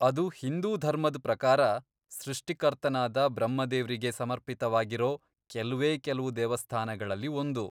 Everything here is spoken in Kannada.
ಅದು ಹಿಂದೂ ಧರ್ಮದ್ ಪ್ರಕಾರ ಸೃಷ್ಟಿಕರ್ತನಾದ ಬ್ರಹ್ಮ ದೇವ್ರಿಗೆ ಸಮರ್ಪಿತವಾಗಿರೋ ಕೆಲ್ವೇ ಕೆಲ್ವು ದೇವಸ್ಥಾನಗಳಲ್ಲಿ ಒಂದು.